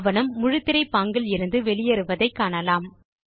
ஆவணம் முழுத்திரை பாங்கில் இருந்து வெளியேறுவதை காணலாம்